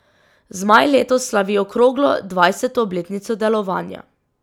Zmaj letos slavi okroglo, dvajseto obletnico delovanja.